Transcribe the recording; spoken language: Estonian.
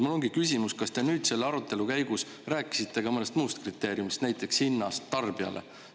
Mul ongi küsimus, kas te nüüd selle arutelu käigus rääkisite ka mõnest muust kriteeriumidest, näiteks hinnast tarbijale.